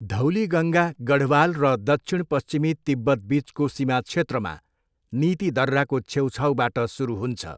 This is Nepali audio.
धौलीगङ्गा गढवाल र दक्षिणपश्चिमी तिब्बतबिचको सीमा क्षेत्रमा नीति दर्राको छेउछाउबाट सुरु हुन्छ।